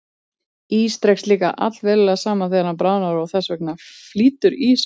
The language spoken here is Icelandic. Ís dregst líka allverulega saman þegar hann bráðnar og þess vegna flýtur ís á vatni.